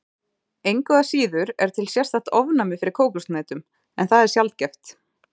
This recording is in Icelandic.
Engu að síður er til sérstakt ofnæmi fyrir kókoshnetum en það er sjaldgæft.